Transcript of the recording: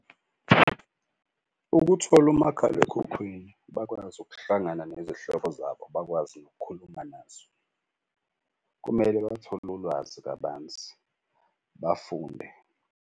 Ukuthola umakhalekhukhwini bakwazi ukuhlangana nezihlobo zabo bakwazi nokukhuluma nazo. Kumele bathole ulwazi kabanzi bafunde.